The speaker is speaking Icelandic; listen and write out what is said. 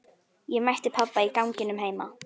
Ég mætti pabba í ganginum heima.